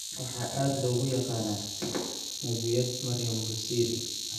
Waxaa aad loogu yaqaanaa [Nabiyaad Maryan Busiri].